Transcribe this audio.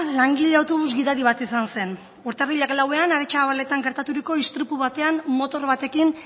langile autobus gidari bat izan zen urtarrilak lauean aretxabaletan gertaturiko istripu batean motor batekin